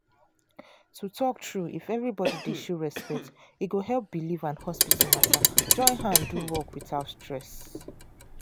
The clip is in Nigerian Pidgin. to talk true if everybody dey show respect e go help belief and hospital matter join hand do work without stress.